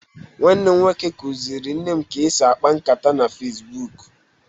Nwanne m nwoke kuziri nne m ka esi ákpá nkàtá na Fesbuk